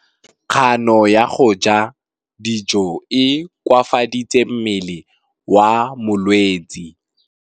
Kganô ya go ja dijo e koafaditse mmele wa molwetse.